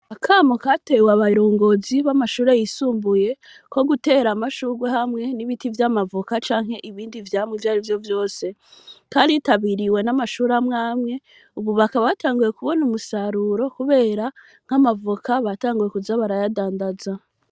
akamo katewe abarongozi b,amashure yisumbuye ko gutera amashugwe hamwe n,ibiti vy,amavoka canke ibindi vyamwa ivyarivyo vyose, karitabiriwe n,amashure amwe amwe ubu bakaba batanguye kubona umusaruro kubera nk,amavoka batanguye kuza barayadandaza.